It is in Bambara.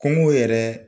Kungo yɛrɛ